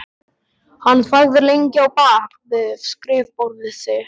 Hann þagði lengi á bak við skrifborðið sitt.